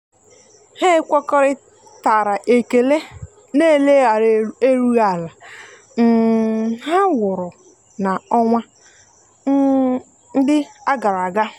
ha ekwekoritara ekele na eleghara erughi ala um ha wụrụ na-onwa um ndi agaraga.